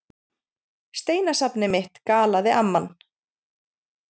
Steinasafnið mitt galaði amman.